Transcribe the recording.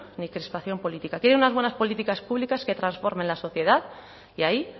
ni crispación política quiere unas buenas políticas públicas que transformen la sociedad y ahí